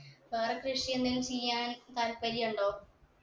വേറെ കൃഷി എന്തേലും ചെയ്യാൻ താല്പര്യണ്ടോ